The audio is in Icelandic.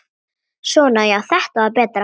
Svona já, þetta var betra.